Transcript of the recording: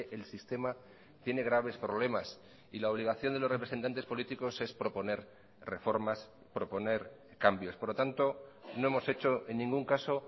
el sistema tiene graves problemas y la obligación de los representantes políticos es proponer reformas proponer cambios por lo tanto no hemos hecho en ningún caso